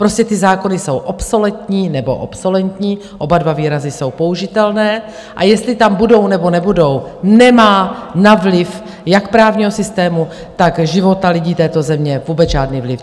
Prostě ty zákony jsou obsoletní, nebo obsolentní, oba dva výrazy jsou použitelné, a jestli tam budou, nebo nebudou, nemá na vliv jak právního systému, tak života lidí této země vůbec žádný vliv.